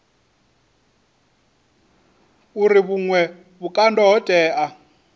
uri vhuṅwe vhukando ho tea